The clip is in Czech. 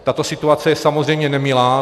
Tato situace je samozřejmě nemilá.